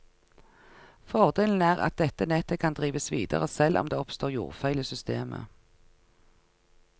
Fordelen er at dette nettet kan drives videre selv om det oppstår jordfeil i systemet.